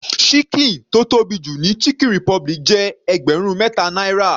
Ṣíkìn tó tóbi jù ní chicken republic jẹ́ ẹgbẹrun mẹta náírà.